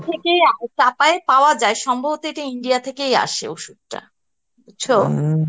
থেকেই আ চাপায়ে পাওয়া যায় সম্ভবত এটা India থেকেইআসে ওষুধটা